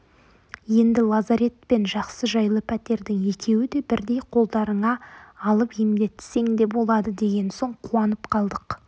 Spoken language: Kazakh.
енді лазарет пен жақсы-жайлы пәтердің екеуі де бірдей қолдарыңа алып емдетсең де болады деген соң қуанып қалдық